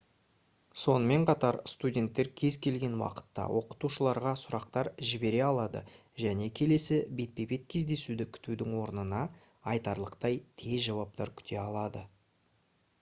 сонымен қатар студенттер кез келген уақытта оқытушыларға сұрақтар жібере алады және келесі бетпе-бет кездесуді күтудің орнына айтарлықтай тез жауаптар күте алады